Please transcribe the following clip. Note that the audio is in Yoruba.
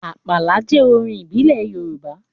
Àpàlà jẹ́ orin ìbílẹ̀ Yorùbá